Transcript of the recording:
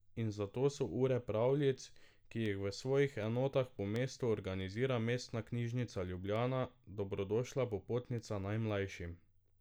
In zato so ure pravljic, ki jih v svojih enotah po mestu organizira Mestna knjižnica Ljubljana, dobrodošla popotnica najmlajšim.